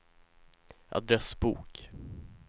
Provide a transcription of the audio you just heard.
adressbok